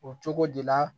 O cogo de la